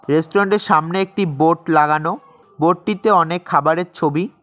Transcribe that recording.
Restaurant -এর সামনে একটি বোর্ড লাগানো বোর্ড -টিতে অনেক খাবারের ছবি।